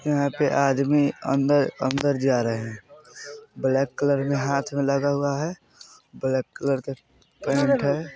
यहाँ पे आदमी अंदर-अंदर जा रहे हैं ब्लॅक कलर मे हाथ मे लगा हुआ हैं ब्लेक कलर का पेंट हैं।